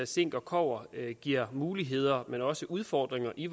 zink og kobber giver muligheder men også udfordringer i